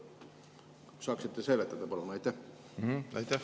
Saaksite te palun selgitada?